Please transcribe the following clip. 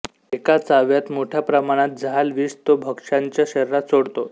एका चाव्यात मोठ्या प्रमाणात जहाल विष तो भक्ष्याच्या शरीरात सोडतो